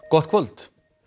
gott kvöld